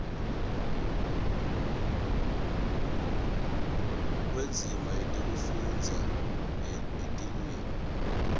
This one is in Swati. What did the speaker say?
kwendzima yekufundza yetilwimi